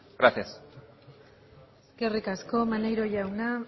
gracias eskerrik asko maneiro jauna